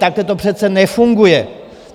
Takhle to přece nefunguje.